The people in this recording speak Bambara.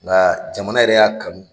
Nga jamana yɛrɛ y'a kanu.